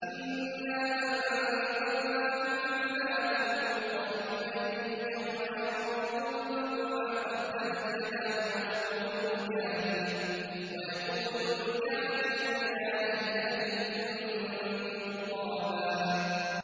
إِنَّا أَنذَرْنَاكُمْ عَذَابًا قَرِيبًا يَوْمَ يَنظُرُ الْمَرْءُ مَا قَدَّمَتْ يَدَاهُ وَيَقُولُ الْكَافِرُ يَا لَيْتَنِي كُنتُ تُرَابًا